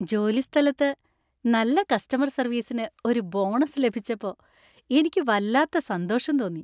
ജോലിസ്ഥലത്ത് നല്ല കസ്റ്റമർ സർവീസിന് ഒരു ബോണസ് ലഭിച്ചപ്പോ എനിക്ക് വല്ലാത്ത സന്തോഷം തോന്നി.